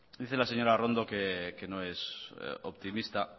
dice la señora arrondo que no es optimista